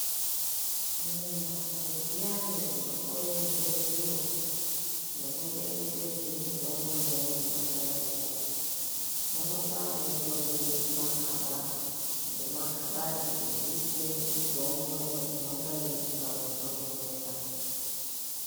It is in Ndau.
Mumbatso dziyani dzinohloyerwe zviro nekuchengetedzwe mitombo imweni inonga irimo munonga mweitoringe zvimakaba ngemakabati ekuise mitombo imwe inonge yeide panotondorera.